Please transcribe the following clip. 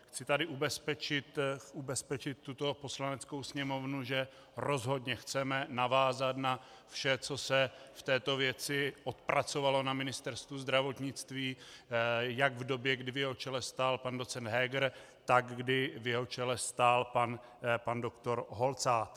Chci tady ubezpečit tuto Poslaneckou sněmovnu, že rozhodně chceme navázat na vše, co se v této věci odpracovalo na Ministerstvu zdravotnictví jak v době, kdy v jeho čele stál pan docent Heger, tak kdy v jeho čele stál pan doktor Holcát.